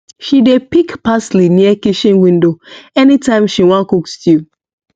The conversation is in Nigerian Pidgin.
she dey pick parsley near kitchen window anytime she wan cook stew